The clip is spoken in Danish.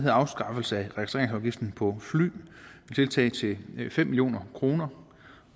er afskaffelse af registreringsafgiften på fly et tiltag til fem million kroner